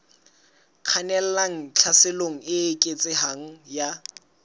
kgannelang tlhaselong e eketsehang ya